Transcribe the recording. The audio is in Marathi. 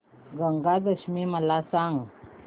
गंगा दशमी मला सांग